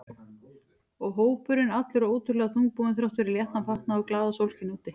Og hópurinn allur ótrúlega þungbúinn þrátt fyrir léttan fatnað og glaðasólskin úti.